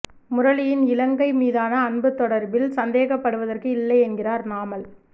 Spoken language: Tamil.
முரளியின் இலங்கை மீதான அன்பு தொடர்பில் சந்தேகப்படுவதற்கு இல்லை என்கிறார் நாமல்